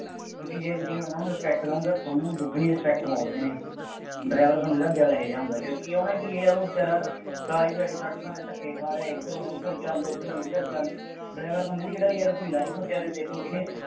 ਕਿਉਂਕਿ ਜੇ ਤੁਸੀਂ ਉਹਨਾ ਨੂੰ respect ਦੇਉਗੇ, ਉਹ ਤੁਹਾਨੂੰ ਦੁੱਗਣੀ respect ਮੋੜਦੇ ਨੇ, driver ਬੰਦੇ ਦਾ ਦਿਲ ਇਹੋ ਜਿਹਾ ਹੁੰਦਾ, ਕਿਉਂਕਿ ਉਹਨੇ ਕੀ ਯਾਰ ਉਹ ਬੇਚਾਰਾ ਸਾਰੀ ਦਿਹਾੜੀ ਸੜਕਾਂ ਤੇ ਧੱਕੇ ਖਾ ਰਿਹਾ, ਇੱਧਰੋਂ ਉੱਧਰ ਚੱਲ, ਉੱਧਰੋ ਂਇੱਧਰ ਚੱਲ, driver ਬੰਦੇ ਦੀ ਕਿਹੜਾ ਯਾਰ ਕੋਈ life ਹੈ ਬੇਚਾਰੇ ਦੀ ਦੇਖ ਲਉ ਕਿੰਨੇ